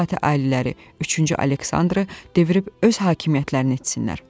Zati-Aliləri üçüncü Aleksandrı devirib öz hakimiyyətlərini etsinlər.